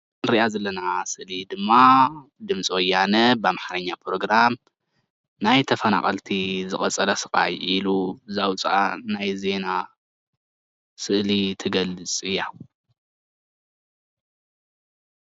እንሪኣ ዘለና ስእሊ ድማ ድምፂ ወያነ ብኣምሓርኛ ፕሮግራም ናይ ተፈናቀልቲ ዝቀፀለ ስቃይ ኢሉ ዘውፀአ ናይ ዜና ስእሊ ትገልፅ እያ፡፡